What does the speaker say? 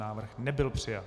Návrh nebyl přijat.